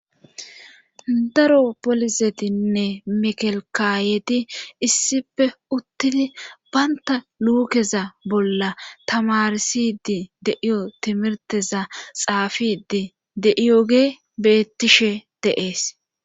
Daro polisetinne mikelkaayeti issippe uttidi bantta luukeza bolla tamarsidi de'iyo timirteza xaafidi de'iyogye bettishshe de'ees